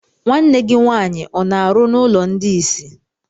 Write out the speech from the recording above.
Nwanne gị nwaanyị ọ na-arụ n'ụlọ ndị isi?